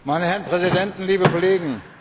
Meine Herren Präsidenten, liebe Kollegen!